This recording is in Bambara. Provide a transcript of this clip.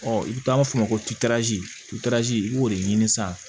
i bɛ taa fɔ ma ko i b'o de ɲini san